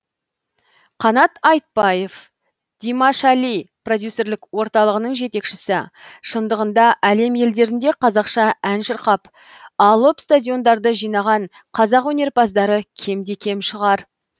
қанат айтбаев димашали продюсерлік орталығының жетекшісі шындығында әлем елдерінде қазақша ән шырқап алып стадиондарды жинаған қазақ өнерпаздары кемде кем шығар